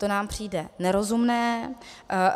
To nám přijde nerozumné.